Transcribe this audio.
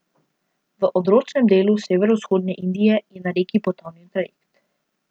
V odročnem delu severovzhodne Indije je na reki potonil trajekt.